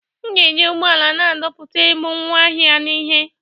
M ga-eji ụgbọala na-adọkpụ ebu ngwaahia na ihe.